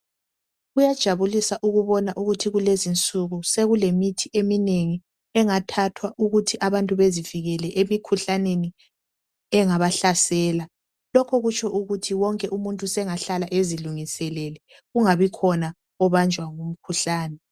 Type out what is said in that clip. Kuyajabulisa ukubona ukuthi kukezi insuku sokulemithi eminengi engathathwa ukuthi abantu bezivikele emikhuhlaneni engabahlasela lokhu kutsho ukuthi wonk umuntu senga hlala ezilungiselele engabikhona obanjwa ngumkhuhlane